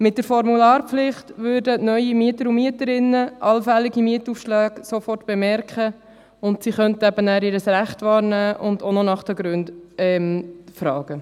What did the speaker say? Mit der Formularpflicht würden neue Mieter und Mieterinnen allfällige Mietaufschläge sofort bemerken, und sie könnten ihr Recht wahrnehmen und nach den Gründen fragen.